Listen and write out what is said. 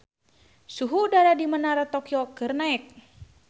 Suhu udara di Menara Tokyo keur naek